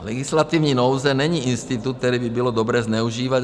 Legislativní nouze není institut, který by bylo dobré zneužívat.